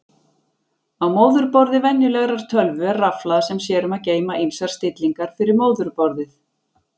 Á móðurborði venjulegrar tölvu er rafhlaða sem sér um að geyma ýmsar stillingar fyrir móðurborðið.